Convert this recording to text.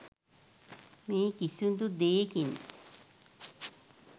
මේ කිසිදු දේකින්